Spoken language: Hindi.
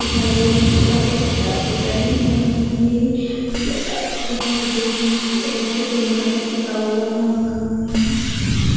दिखाई दे रहे है पर्दे दिखाई दे रहे हैं खम्बे पिलर टाइप दिख रहे है साइड से पिंक कलर पोता हुआ मकान में है।